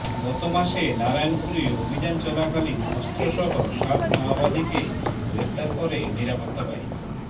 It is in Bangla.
গত মাসে নারায়নপুরে অভিযান চলাকালীন অস্ত্র সহ সাত মাওবাদীকে গ্রেফতার করে নিরাপত্তা বাহিনী